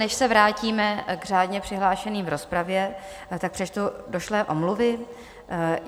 Než se vrátím k řádně přihlášeným v rozpravě, tak přečtu došlé omluvy.